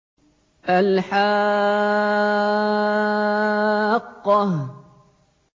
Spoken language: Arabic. الْحَاقَّةُ